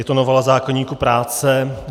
Je to novela zákoníku práce.